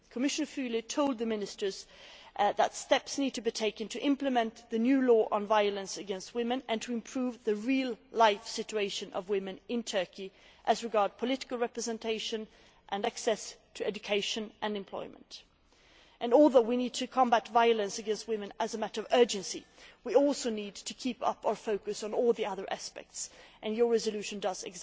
Commissioner Füle told the Minister that steps need to be taken to implement the new law on violence against women and to improve the real life situation of women in Turkey as regards political representation and access to education and employment. While we need to combat violence against women as a matter of urgency, we also need to keep a focus on all the other aspects and that is precisely what this resolution does.